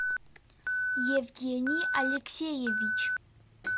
евгений алексеевич